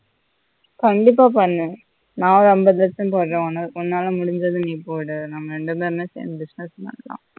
கண்டிப்பா பண்ணு நான் ஐம்பது percent போட்றோம் உன்னால முடிஞ்சத நீ போடு நாம ரேண்டு பெருமே சேர்ந்து business பண்ணலாம்